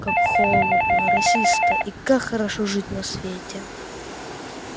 как холодно росисто и как хорошо жить на свете